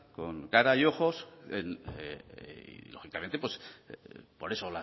con cara y ojos y lógicamente por eso